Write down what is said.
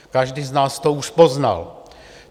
Každý z nás to už poznal.